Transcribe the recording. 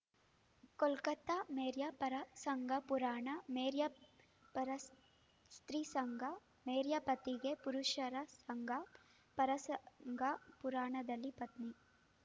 ಕೋಲ್ಕತಾ ಮೇರಿಯ ಪರಸಂಗ ಪುರಾಣ ಮೇರಿಯ ಪರಸ್ತ್ರೀ ಸಂಗ ಮೇರಿಯ ಪತ್ನಿಗೆ ಪರಪುರುಷನ ಸಂಗ ಪರಸಂಗ ಪುರಾಣದಲ್ಲಿ ಪತ್ನಿ